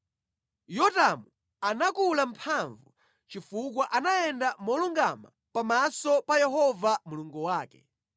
Yotamu anakula mphamvu chifukwa anayenda molungama pamaso pa Yehova Mulungu wake.